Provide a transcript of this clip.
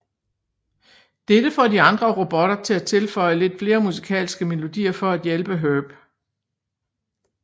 Dette får de andre robotter til at tilføje lidt mere musikalske melodier for at hjælpe Herb